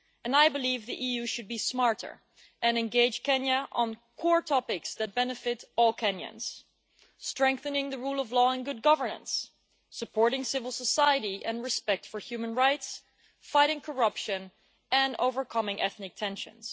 I believe the EU should be smarter and engage Kenya on core topics that benefit all Kenyans strengthening the rule of law and good governance, supporting civil society and respect for human rights, fighting corruption and overcoming ethnic tensions.